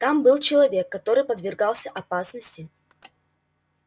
там был человек который подвергался опасности